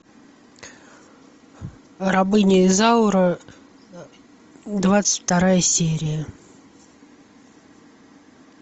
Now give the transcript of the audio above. рабыня изаура двадцать вторая серия